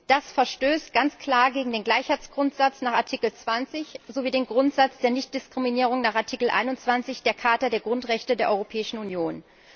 Das verstößt ganz klar gegen den Gleichheitsgrundsatz nach Artikel 20 sowie den Grundsatz der Nichtdiskriminierung nach Artikel 21 der Charta der Grundrechte der Europäischen Union.